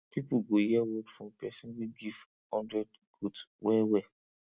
people go hear word from person wey get hundred goat wellwell